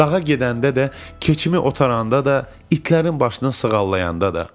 Dağa gedəndə də, keçimi otaranda da, itlərin başını sığallayanda da.